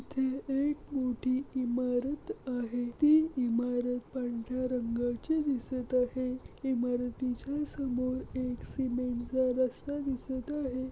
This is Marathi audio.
ही एक मोठ इमारत आहे ती इमारत पांढर्‍या रंगाची दिसत आहे इमारतीच्या समोर एक सीमेंट चा रस्ता दिसत आहे.